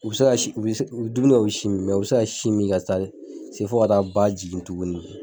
U bi dumuni kɛ, u bi sin min. u bi se ka sin mi fo ka taa ba jigin tuguni.